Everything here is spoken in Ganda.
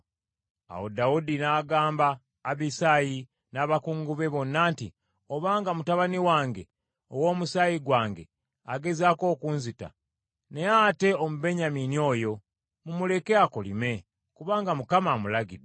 Awo Dawudi n’agamba Abisaayi n’abakungu be bonna nti, “Obanga mutabani wange, ow’omusaayi gwange agezaako okunzita, naye ate Omubenyamini oyo. Mumuleke, akolime, kubanga Mukama amulagidde.